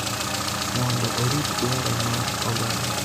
mondo orit dwaro mar oganda